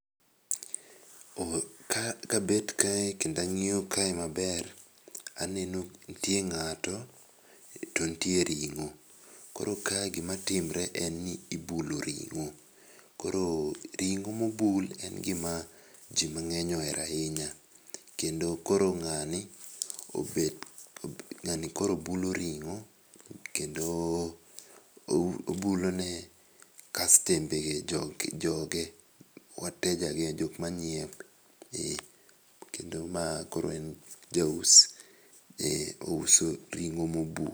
Oh, kabet kae kendang'iyo kae maber, aneno ntie ng'ato to ntie ring'o. Koro kae gimatimre en ni ibulo ring'o, koro ring'o mobul en gima ji mang'eny ohero ahinya. Kendo koro ng'ani obet ng'ani koro bulo ring'o kendo obulone kastembege, joge, wateja ge jok manyiewe, eh. Kendo ma koro en jaus, eh, ouso ring'o mobul.